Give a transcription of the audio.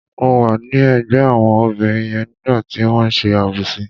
Mo wà ní ẹ̀gbẹ́ àwọn obìnrin yẹn nígbà tí wọ́n ṣe àbòsí.